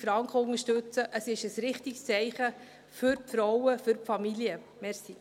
Unterstützen Sie 16’000 Franken, es ist ein richtiges Zeichen für die Frauen, für die Familien.